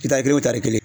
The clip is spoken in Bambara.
kelen wo taari kelen